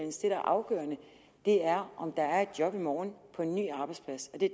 er afgørende er om der er et job i morgen på en ny arbejdsplads og det